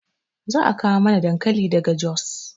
Za a kawo mana dankali daga jos